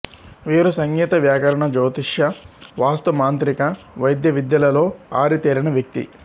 వీరు సంగీత వ్యాకరణ జ్యోతిష వాస్తు మాంత్రిక వైద్య విద్యలలో ఆరితేరిన వ్యక్తి